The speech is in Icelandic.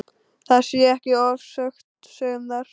Það sé ekki ofsögum sagt.